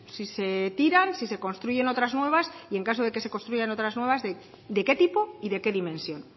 si se tiran si se construyen otras nuevas y en caso de que se construyan otras nuevas de qué tipo y de qué dimensión